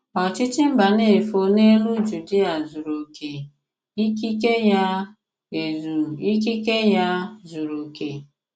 Òchìchì Mbànéfò n’èlù Jùdìà zùrù èzù; ìkikè ya, èzù; ìkikè ya, zùrù òkè.